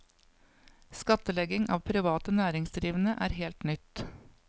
Skattlegging av private næringsdrivende er helt nytt.